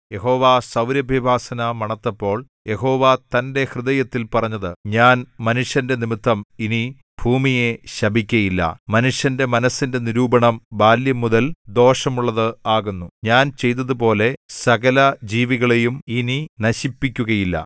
യഹോവ സൗരഭ്യവാസന മണത്തപ്പോൾ യഹോവ തന്റെ ഹൃദയത്തിൽ പറഞ്ഞത് ഞാൻ മനുഷ്യന്റെ നിമിത്തം ഇനി ഭൂമിയെ ശപിക്കയില്ല മനുഷ്യന്റെ മനസ്സിന്റെ നിരൂപണം ബാല്യംമുതൽ ദോഷമുള്ളത് ആകുന്നു ഞാൻ ചെയ്തതുപോലെ സകലജീവികളെയും ഇനി നശിപ്പിക്കുകയില്ല